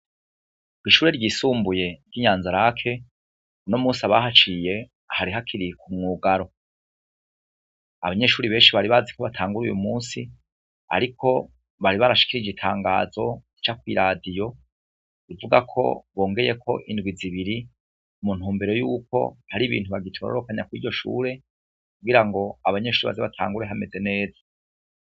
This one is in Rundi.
Kw'ishure ry'isumbuye ryi Nyanza lac no musi abahaciye hari hakiriye ku mwugaro .Abanyeshuri benshi bari bazi ko batangure uyu munsi ariko bari barashikire igitangazo rica kw'iradiyo ivuga ko bongeye ko indwi zibiri mu ntu umbere yuko hari ibintu bagitororokanya ku iryo shure kugira ngo abanyeshuri baze batangure hameze neza.